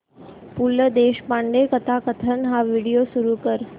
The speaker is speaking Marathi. पु ल देशपांडे कथाकथन हा व्हिडिओ सुरू कर